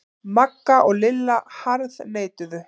Magga og Lilla harðneituðu.